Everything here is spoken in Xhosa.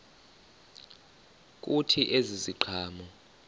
kuthi ezi ziqhamo